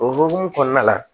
O hukumu kɔnɔna la